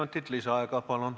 Kolm minutit lisaaega, palun!